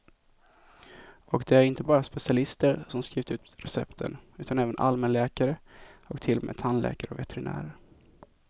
Och det är inte bara specialister som skrivit ut recepten, utan även allmänläkare och till och med tandläkare och veterinärer.